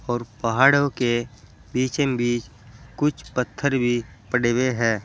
और पहाड़ों के बीचम बीच कुछ पत्थर भी पड़े हुए हैं।